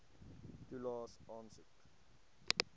toelaes aansoek